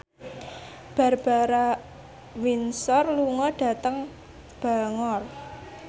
Barbara Windsor lunga dhateng Bangor